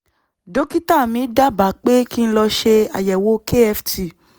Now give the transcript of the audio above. dókítà mi dábàá pé kí n lọ ṣe àyẹ̀wò kft